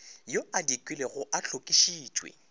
yo a dikilwego a hlokišitšwe